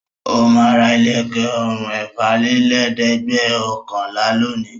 Ó máa ra ilẹ̀kẹ̀ ọrùn ẹ̀fàlélẹ́ẹ̀dẹ́gbẹ̀ọ̀kànlá lónìí.